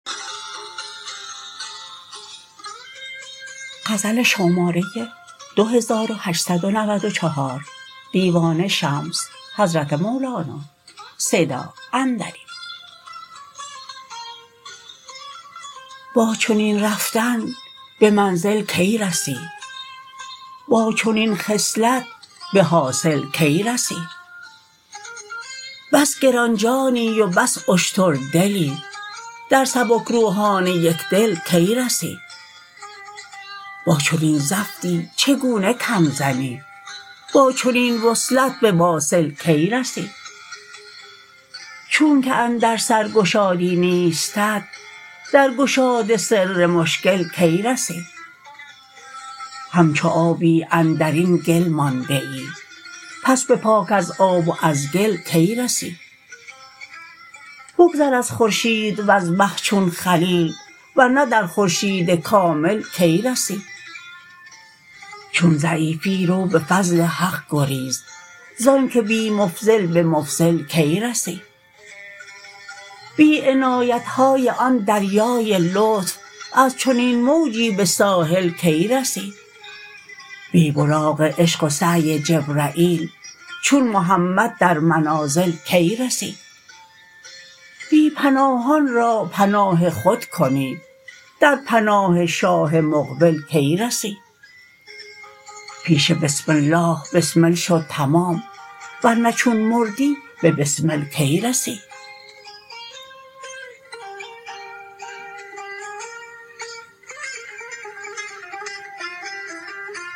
با چنین رفتن به منزل کی رسی با چنین خصلت به حاصل کی رسی بس گران جانی و بس اشتردلی در سبک روحان یک دل کی رسی با چنین زفتی چگونه کم زنی با چنین وصلت به واصل کی رسی چونک اندر سر گشادی نیستت در گشاد سر مشکل کی رسی همچو آبی اندر این گل مانده ای پس به پاک از آب و از گل کی رسی بگذر از خورشید وز مه چون خلیل ور نه در خورشید کامل کی رسی چون ضعیفی رو به فضل حق گریز ز آنک بی مفضل به مفضل کی رسی بی عنایت های آن دریای لطف از چنین موجی به ساحل کی رسی بی براق عشق و سعی جبرییل چون محمد در منازل کی رسی بی پناهان را پناه خود کنی در پناه شاه مقبل کی رسی پیش بسم الله بسمل شو تمام ور نه چون مردی به بسمل کی رسی